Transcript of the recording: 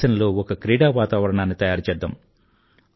దేశంలో ఒక క్రీడా వాతావరణాన్ని తయారుచేద్దాం